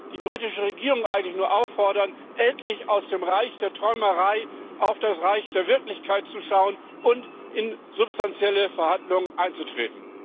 Ich kann die britische Regierung eigentlich nur auffordern, endlich aus dem Reich der Träumerei auf das Reich der Wirklichkeit zu schauen und in substanzielle Verhandlungen einzutreten!